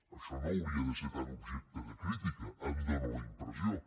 això no hauria de ser tan objecte de crítica em dóna la impressió